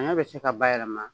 Saɲɔn be se ka bayɛlɛma